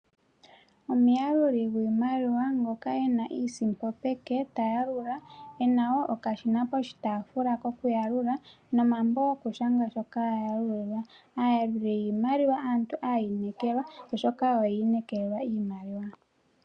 Omuyaluli gwii maliwa ngoka ene iisimpo peke, ta ya lula, ena wo okashina po shitaafula ko kuyalula, nomambo go ku shanga shoka a yalula. Aayaluli yiimaliwa aantu aayinekelwa oshoka oya ine kelelwa iimaliwa.